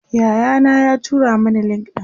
Yaya na ya tura Mani link ɗin